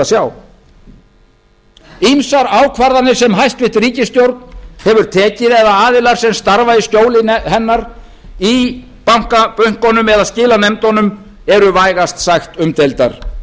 verður fróðlegt að sjá ýmsar ákvarðanir sem hæstvirt ríkisstjórn hefur tekið eða aðilar sem starfa í skjóli hennar í bönkunum eða skilanefndunum eru vægast sagt umdeildar